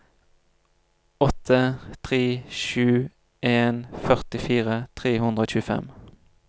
åtte tre sju en førtifire tre hundre og tjuefem